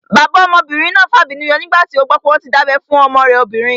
Bàbá ọmọbìnrin náà fàbínú yọ nígbà tí ó gbọ́ pé wọ́n tí dábẹ́ fún ọmọ rẹ̀ obìnrin